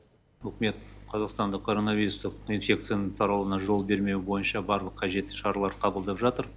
үкімет қазақстанда короновирустық инфекцияны таралуына жол бермеу бойынша барлық қажетті шаралар қабылдап жатыр